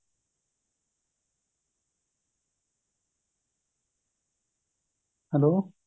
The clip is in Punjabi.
hello